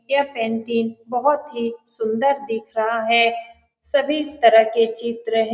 यह पेन्टिंग बहोत ही सुंदर दिख रहा है सभी तरह के चित्र है।